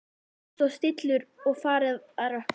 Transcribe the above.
Það var frost og stillur og farið að rökkva.